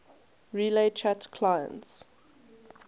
relay chat clients